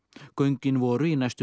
göngin voru í næstum